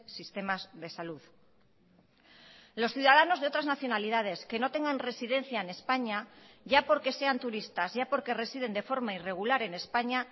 sistemas de salud los ciudadanos de otras nacionalidades que no tengan residencia en españa ya porque sean turistas ya porque residen de forma irregular en españa